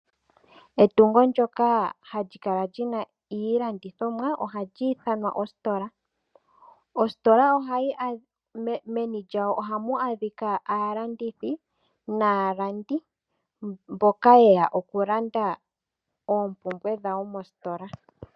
Etungo ndyoka hali kala li na iilandithomwa oha li ithanwa ositola. Meni lyositola ohamu adhika aalandithi, naalandi mboka yeya okulanda oompumbwe dhawo mositola.